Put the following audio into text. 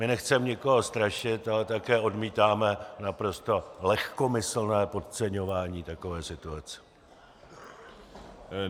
My nechceme nikoho strašit, ale také odmítáme naprosto lehkomyslné podceňování takové situace.